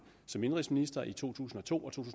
som indenrigsminister i to tusind og to og to